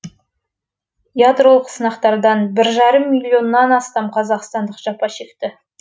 ядролық сынақтардан бір жарым миллионнан астам қазақстандық жапа шекті